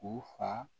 U fa